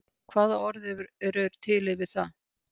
Hvaða orð eru yfir til yfir það?